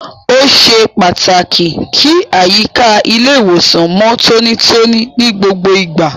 Ó ṣe pàtàkì kí àyíká ilé ìwòsàn mọ tonítoní ní gbogbo ìgbà.